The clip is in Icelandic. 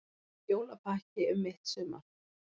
Jólapakki um mitt sumar